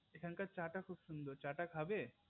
এখনকার চা টা খুব সুন্দর চা টা খাবে